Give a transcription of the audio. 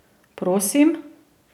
Prosim?